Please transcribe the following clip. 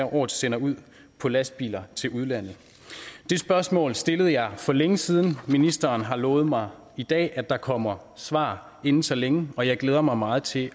år sender ud på lastbiler til udlandet det spørgsmål stillede jeg for længe siden ministeren har lovet mig i dag at der kommer svar inden så længe og jeg glæder mig meget til